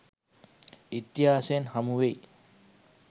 ඉතිහාසයෙන් හමු වෙයි.